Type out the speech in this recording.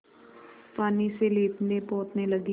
पानी से लीपनेपोतने लगी